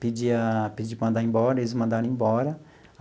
pedi a pedi para mandar embora, e eles me mandaram embora.